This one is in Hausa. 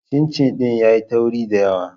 Cincin ɗin yayi tauri da yawa